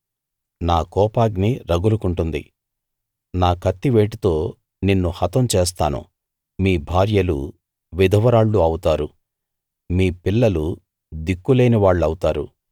నా కోపాగ్ని రగులుకొంటుంది నా కత్తివేటుతో నిన్ను హతం చేస్తాను మీ భార్యలు విధవరాళ్ళు అవుతారు మీ పిల్లలు దిక్కులేని వాళ్ళవుతారు